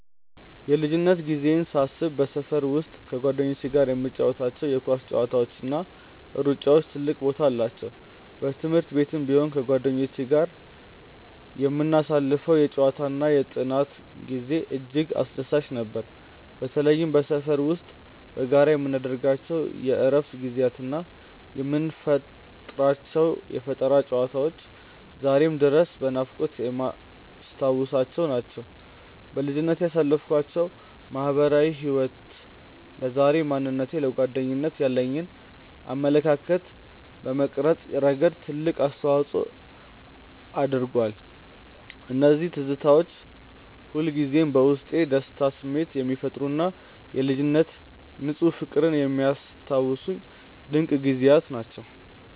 የልጅነት ጊዜዬን ሳስብ በሰፈር ውስጥ ከጓደኞቼ ጋር የምንጫወታቸው የኳስ ጨዋታዎችና ሩጫዎች ትልቅ ቦታ አላቸው። በትምህርት ቤትም ቢሆን ከጓደኞቼ ጋር የምናሳልፈው የጨዋታና የጥናት ጊዜ እጅግ አስደሳች ነበር። በተለይም በሰፈር ውስጥ በጋራ የምናደርጋቸው የእረፍት ጊዜያትና የምንፈጥራቸው የፈጠራ ጨዋታዎች ዛሬም ድረስ በናፍቆት የማስታውሳቸው ናቸው። በልጅነቴ ያሳለፍኩት ማህበራዊ ህይወት ለዛሬው ማንነቴና ለጓደኝነት ያለኝን አመለካከት በመቅረጽ ረገድ ትልቅ አስተዋጽኦ አድርጓል። እነዚያ ትዝታዎች ሁልጊዜም በውስጤ የደስታ ስሜት የሚፈጥሩና የልጅነት ንፁህ ፍቅርን የሚያስታውሱኝ ድንቅ ጊዜያት ናቸው።